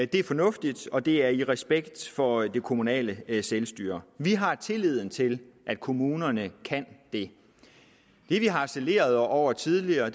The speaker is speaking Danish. det er fornuftigt og det er i respekt for det kommunale selvstyre vi har tilliden til at kommunerne kan det det vi harcelerede over tidligere